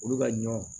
Olu ka ɲɔ